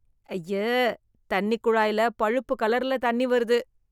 ஐயே... தண்ணி கொழாய்ல, பழுப்பு கலர்ல தண்ணி வருது..